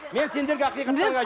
мен сендерге ақиқатты ғана айтып